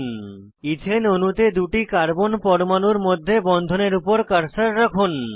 এথানে ethane অণুতে দুটি carbon পরমাণুর মধ্যে বন্ধনের উপর কার্সার রাখুন